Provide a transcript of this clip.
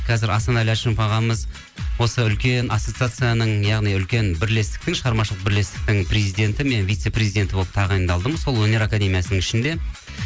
қазір асанәлі әшімов ағамыз осы үлкен ассосацияның яғни үлкен бірлестіктің шығармашылық бірлестіктің президенті мен вице президенті болып тағайындалдым сол өнер академиясының ішінде